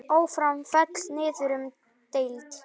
Ármann féll niður um deild.